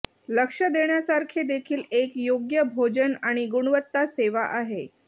लक्ष देण्यासारखे देखील एक योग्य भोजन आणि गुणवत्ता सेवा आहे